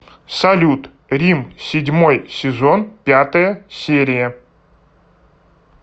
салют рим седьмой сезон пятая серия